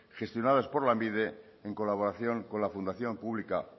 gestionados por lanbide en colaboración con la fundación pública